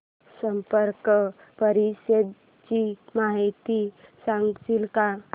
SAARC परिषदेची माहिती सांगशील का